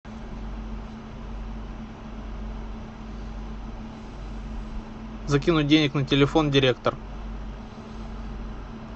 закинуть денег на телефон директор